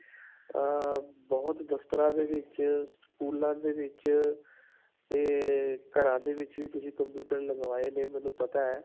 ਅਅ ਬਹੁਤ ਦਫ਼ਤਰਾਂ ਦੇ ਵਿਚ, ਸਕੂਲਾਂ ਦੇ ਵਿਚ 'ਤੇ ਘਰਾਂ ਦੇ ਵਿੱਚ ਵੀ ਤੁਸੀਂ computer ਲਗਵਾਏ ਨੇ. ਮੈਨੂੰ ਪਤਾ ਹੈ.